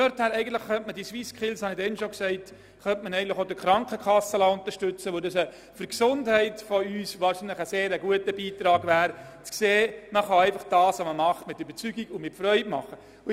Aus dieser Perspektive könnte man diese SwissSkills auch durch die Krankenkassen unterstützen lassen, weil es unserer Gesundheit sehr zuträglich wäre zu sehen, dass man seine Tätigkeit auch mit Überzeugung und Freude ausführen kann.